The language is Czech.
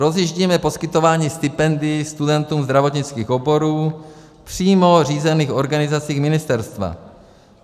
Rozjíždíme poskytování stipendií studentům zdravotnických oborů přímo řízených organizací ministerstva.